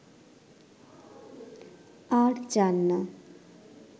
আর চান না